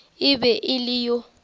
e be e le yo